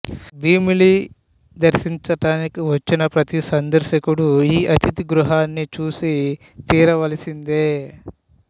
భీమిలి దర్శించడానికి వచ్చిన ప్రతి సందర్శకుడు ఈ అతిథి గృహాని చూసి తీరవలసిందే